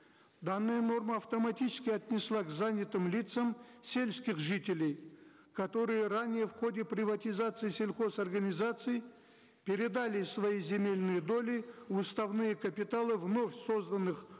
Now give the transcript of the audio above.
данная норма автоматически отнесла к занятым лицам сельских жителей которые ранее в ходе приватизации сельхозорганизаций передали свои земельные доли в уставные капиталы вновь созданных